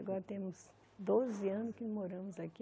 Agora temos doze anos que moramos aqui.